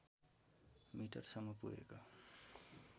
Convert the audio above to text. metre सम्म पुगेको